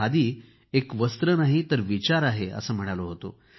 खादी एक वस्त्र नाही तर विचार आहे असे म्हणालो होतो